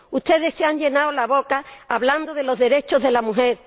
Ustedes se han llenado la boca hablando de los derechos de la mujer.